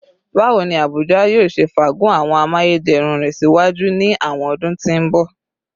Bawo ni Abuja yoo ṣe faagun awọn amayederun rẹ siwaju ni awọn ọdun ti n bọ?